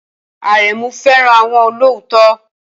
Aremu fẹ́ràn àwọn olóòótọ́